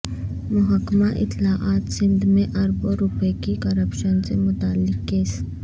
محکمہ اطلاعات سندھ میں اربوں روپے کی کرپشن سے متعلق کیس